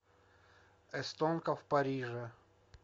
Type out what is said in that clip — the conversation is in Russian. эстонка в париже